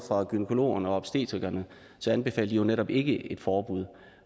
gynækologerne og obstetrikerne anbefaler de jo netop ikke et forbud